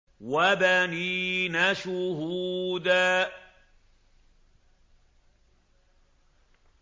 وَبَنِينَ شُهُودًا